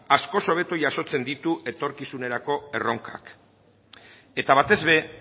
askoz hobeto jasotzen ditu etorkizunerako erronkak eta batez ere